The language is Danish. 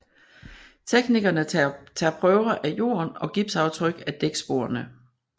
Teknikerne tager prøver af jorden og gipsaftryk af dæksporene